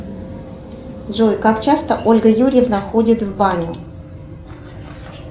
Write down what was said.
джой как часто ольга юрьевна ходит в баню